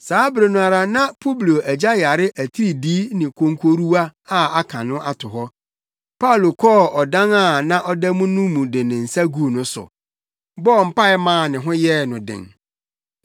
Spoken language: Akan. Saa bere no ara na Publio agya yare atiridii ne konkoruwa a aka no ato hɔ. Paulo kɔɔ ɔdan a na ɔda mu no mu de ne nsa guu no so, bɔɔ mpae maa ne ho yɛɛ no den.